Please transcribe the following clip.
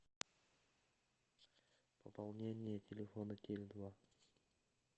пополнение телефона теле два